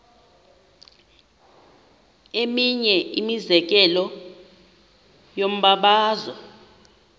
eminye imizekelo yombabazo